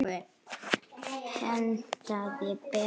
Hentaði betur.